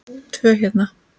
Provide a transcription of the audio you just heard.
Tvo héra